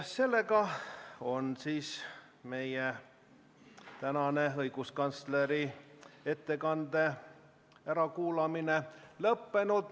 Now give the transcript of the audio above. Seega on meie tänane õiguskantsleri ärakuulamine lõppenud.